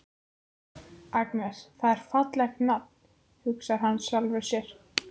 Agnes, það er fallegt nafn, hugsar hann með sjálfum sér.